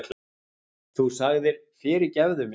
Þú sagðir: Fyrirgefðu þér.